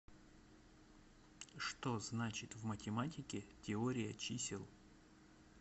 что значит в математике теория чисел